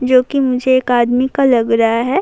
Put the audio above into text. جو کہ مجھے ایک ادمی کا لگ رہا ہے-